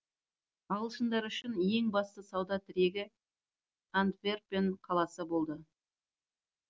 ағылшындар үшін ең басты сауда тірегі антверпен қаласы болды